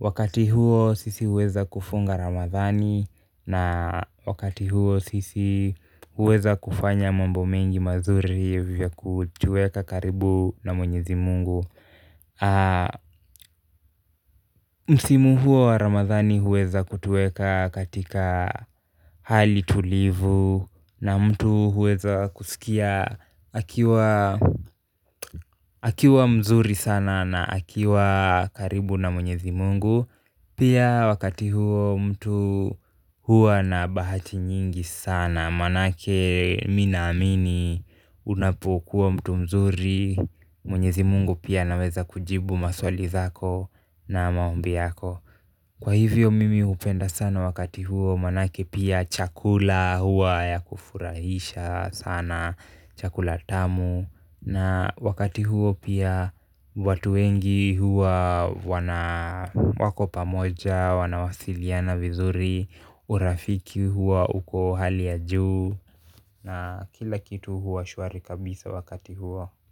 Wakati huo sisi huweza kufunga Ramadhani na wakati huo sisi huweza kufanya mambo mengi mazuri yakutuweka karibu na mwenyezi Mungu msimu huo wa Ramadhani huweza kutuweka katika hali tulivu na mtu huweza kusikia akiwa akiwa mzuri sana na akiwa karibu na mwenyezi Mungu pia wakati huo mtu huwa na bahati nyingi sana maanake mimi naamini unapokuwa mtu mzuri Mwenyezi Mungu pia anaweza kujibu maswali zako na maombi yako kwa hivyo mimi hupenda sana wakati huo maanake pia chakula huwa ya kufurahisha sana chakula tamu na wakati huo pia watu wengi huwa wana wako pamoja wanawasiliana vizuri urafiki huwa uko hali ya juu na kila kitu hua shwari kabisa wakati huo.